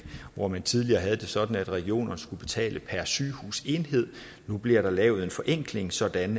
hvor man tidligere havde det sådan at regionerne skulle betale per sygehusenhed nu bliver der lavet en forenkling sådan